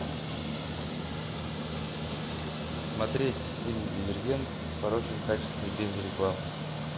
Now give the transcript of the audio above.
смотреть фильм дивергент в хорошем качестве без рекламы